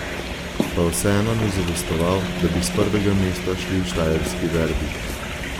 Pa vseeno ni zadostoval, da bi s prvega mesta šli v štajerski derbi.